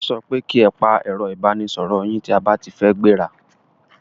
Wọ́n so pe ki e pa ẹ̀ro ìbánisoro yín tí a ba ti fẹ́ gbẹ́ra!